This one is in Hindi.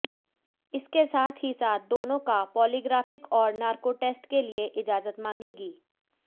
इसके साथ ही साथ दोनों का पॉलीग्राफिक और नारकोटेस्ट के लिए इजाजत मांगेगी